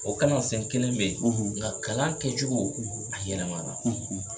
O sen kelen bɛ ye nga kalan kɛcogo a yɛrɛma la.